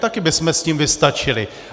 Tady bychom s tím vystačili.